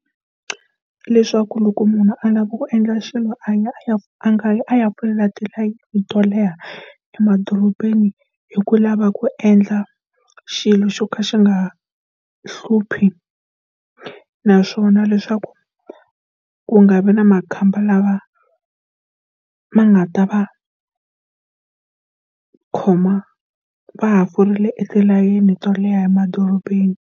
Leswaku loko munhu a lava ku endla xilo a ya a ya a nga yi folela tilayini to leha emadorobeni hi ku lava ku endla xilo xo ka xi nga hluphi naswona leswaku, ku nga vi na makhamba lama ma nga ta va khoma va ha forile etilayeni to leha emadorobeni.